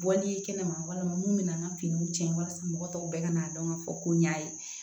Bɔli ye kɛnɛma walima mun bɛ na an ka finiw cɛn walasa mɔgɔ tɔw bɛɛ ka n'a dɔn k'a fɔ ko ɲ'a ye